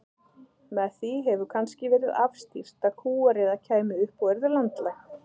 Með því hefur kannski verið afstýrt að kúariða kæmi upp og yrði landlæg.